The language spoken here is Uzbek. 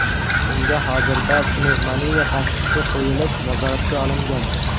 Unga hozirda pnevmoniya tashxisi qo‘yilib, nazoratga olingan.